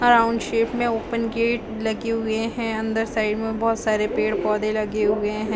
Around shape में open gate लगे हुए है अंदर साइड में बहुत सारे पेड़ - पौधे लगे हुए है।